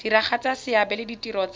diragatsa seabe le ditiro tsa